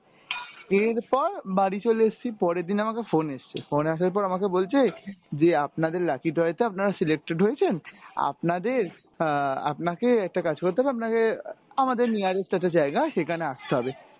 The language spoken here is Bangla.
এরপর বাড়ি চলে এসছি পরেরদিন আমাকে phone এসছে। phone আসার পর আমাকে বলছে যে আপনাদের lucky draw এ তো আপনারা selected হয়েছেন আপনাদের আহ আপনাকে একটা কাজ করতে হবে আপনাকে আমদের nearest একটা জায়গা সেখানে আসতে হবে।